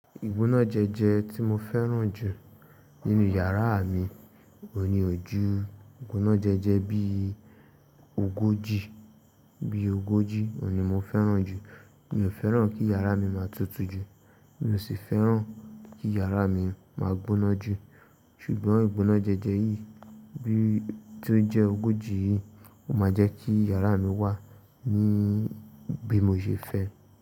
Ìgbónájẹjẹ tí mo fẹ́ràn jù nínú yàrá mi òhun ní ò jù ìgbónájẹjẹ bí ogójì, bí ogójì òhun ní mo fẹ́ràn jù. Mi ò fẹ́ràn kí yàrá mi máa tutù jù, mi ò sì fẹ́ràn kí yàrá mi máa gbóná jù. Ṣùgbọ́n ìgbónájẹjẹ yìí tí ó jẹ́ ogójì yìí ó máa jẹ́ kí yàrá mi wà ní bí mo ṣe fẹ́